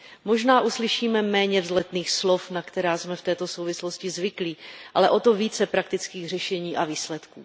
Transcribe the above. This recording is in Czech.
Možná uslyšíme méně vzletných slov, na která jsme v této souvislosti zvyklí, ale o to více praktických řešení a výsledků.